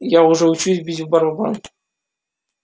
я уже учусь бить в барабан